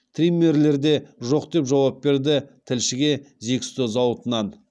триммерлер де жоқ деп жауап берді тілшіге зиксто зауытынан